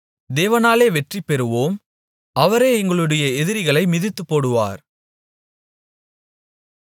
தேவனாலே வெற்றி பெறுவோம் அவரே எங்களுடைய எதிரிகளை மிதித்துப்போடுவார்